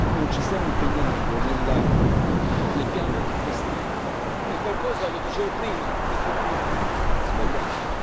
non ci stiamo impegnando nel piano degli investimenti, è qualcosa lo dicevo prima di completamente sbagliato.